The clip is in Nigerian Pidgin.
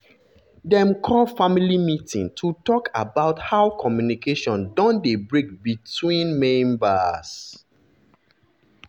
dem call family meeting to talk about how communication don dey break between between members.